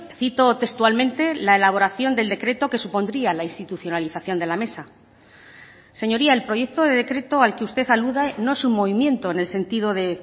cito textualmente la elaboración del decreto que supondría la institucionalización de la mesa señoría el proyecto de decreto al que usted alude no es un movimiento en el sentido de